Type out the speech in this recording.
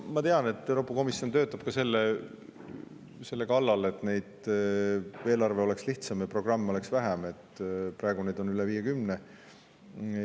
Ma tean, et Euroopa Komisjon töötab selle kallal, et eelarve oleks lihtsam ja programme oleks vähem, praegu on neid üle 50.